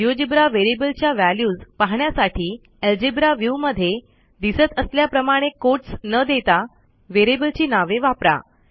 GeoGebra व्हेरिएबलच्या values पाहण्यासाठी algebra viewमध्ये दिसत असल्याप्रमाणे कोटस न देता व्हेरिएबलची नावे वापरा